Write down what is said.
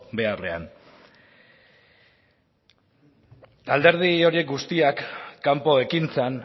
beharrean alderdi horiek guztiak kanpo ekintzan